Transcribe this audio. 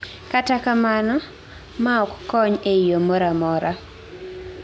kata kamano, mar ok kony ei yoo moramora